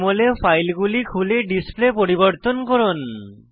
JML এ ফাইলগুলি খুলে ডিসপ্লে পরিবর্তন করুন